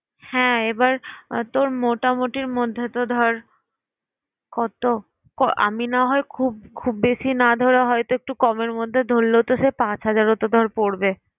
হ্যাঁ এবার তোর মোটামুটির মধ্যেতো ধর কত? আমি না হয় খুব বেশি না ধরে হয়তো একটু কম এর মধ্যে ধরলেও সে পাঁচ হাজারও তো ধর পরবে।